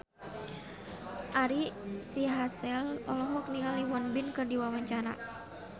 Ari Sihasale olohok ningali Won Bin keur diwawancara